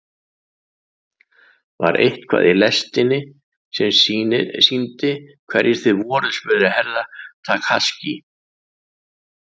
Var eitthvað í lestinni sem sýndi hverjir þið voruð spurði Herra Takashi.